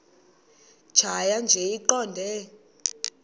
tjhaya nje iqondee